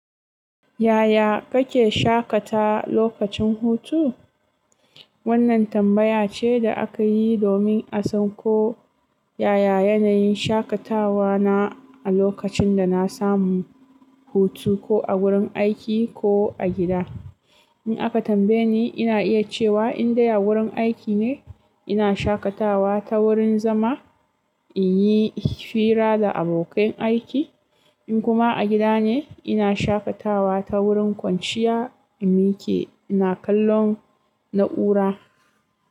Yaya kake shaƙata lokacin hutu?" Wannan tambaya ce da aka yi domin a san ko yaya yanayin shaƙatawa na a lokacin da na samu hutu, ko a wurin aiki ko a gida. In aka tambaye ni, ina iya cewa in dai a wurin aiki ne, ina shaƙatawa ta wurin zama in yi hira da abokan aiki, in kuma a gida ne, ina shaƙatawa ta wurin kwanciya in mike ina kallon na'ura.